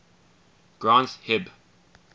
granth hib